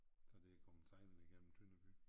Der det kommet sejlende igennem Tønder by